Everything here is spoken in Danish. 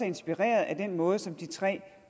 inspireret af den måde som de tre